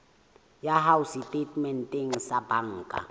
ya hao setatementeng sa banka